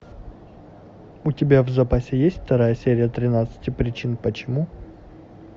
у тебя в запасе есть вторая серия тринадцати причин почему